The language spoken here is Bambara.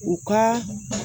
U ka